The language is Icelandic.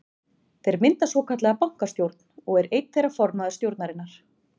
Þeir mynda svokallaða bankastjórn og er einn þeirra formaður stjórnarinnar.